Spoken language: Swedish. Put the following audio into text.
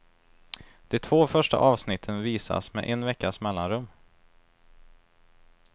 De två första avsnitten visas med en veckas mellanrum.